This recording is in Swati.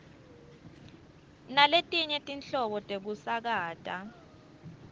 naletinye tinhlobo tekusakata